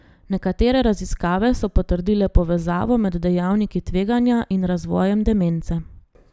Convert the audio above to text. Nekatere raziskave so potrdile povezavo med dejavniki tveganja in razvojem demence.